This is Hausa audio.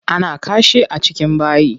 Ana kashi a cikin bayi.